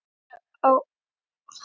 Erla: Ferðu oft á útsölur?